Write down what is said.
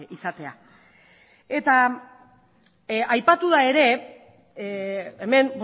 izatea eta aipatu da ere hemen